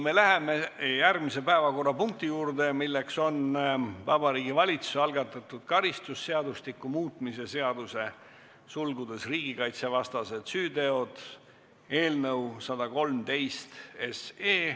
Me läheme järgmise päevakorrapunkti juurde, milleks on Vabariigi Valitsuse algatatud karistusseadustiku muutmise seaduse eelnõu 113.